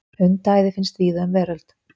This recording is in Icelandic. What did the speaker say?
Hundaæði finnst víða um veröld.